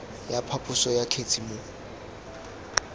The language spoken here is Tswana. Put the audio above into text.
ya phaposo ya kgetse mo